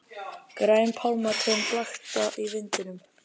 Græn pálmatrén blakta í vindinum.